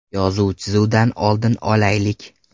Yozuv-chizuvdan oldin olaylik.